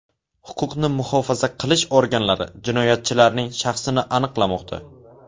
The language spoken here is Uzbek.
Huquqni muhofaza qilish organlari jinoyatchilarning shaxsini aniqlamoqda.